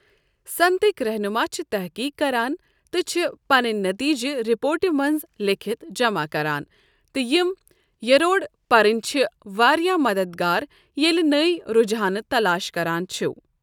صنعتٕکۍ رہنما چھِ تٔحقیٖق کران تہٕ چھِ پنٕنۍ نٔتیٖجہِ رپورٹہِ منٛز لیٖکھِتھ جمع کران، تہٕ یِمۍ یروڑٕ پرٕنۍ چھِ واریٛاہ مددگار ییٚلہِ نئۍ رجحانہٕ تلاش کران چھو۔